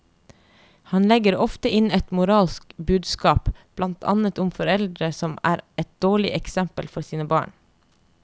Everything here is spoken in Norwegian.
Han legger ofte inn et moralsk budskap, blant annet om foreldre som er et dårlig eksempel for sine barn.